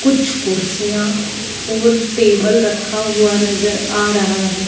कुछ कुर्सियां और टेबल रखा हुआ नजर आ रहा है।